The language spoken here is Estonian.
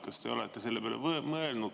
Kas te olete selle peale mõelnud?